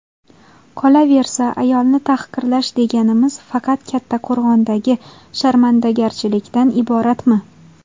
Qolaversa, ayolni tahqirlash deganimiz faqat Kattaqo‘rg‘ondagi sharmandagarchilikdan iboratmi?